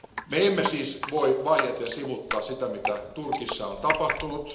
Me emme siis voi vaieten sivuuttaa sitä, mitä Turkissa on tapahtunut.